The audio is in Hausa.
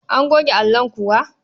An goge allon kuwa?